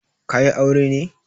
Ka yi aure ne?